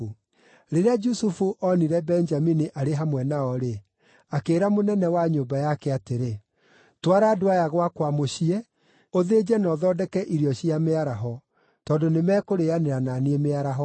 Rĩrĩa Jusufu onire Benjamini arĩ hamwe nao-rĩ, akĩĩra mũnene wa nyũmba yake atĩrĩ, “Twara andũ aya gwakwa mũciĩ, ũthĩnje na ũthondeke irio cia mĩaraho; tondũ nĩ mekũrĩanĩra na niĩ mĩaraho.”